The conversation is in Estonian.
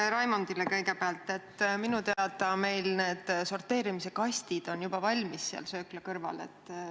Raimondile ütlen kõigepealt, et meil on sorteerimise kastid söökla kõrval juba olemas.